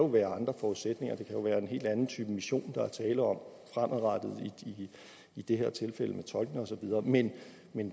være andre forudsætninger det kan jo være en helt anden type mission der er tale om fremadrettet i det her tilfælde med tolkene og så videre men